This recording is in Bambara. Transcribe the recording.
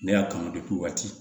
Ne y'a kanu waati